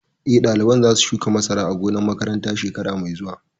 Eh, ɗaliban za su shuka masara a gonar makaranta shekara mai zuwa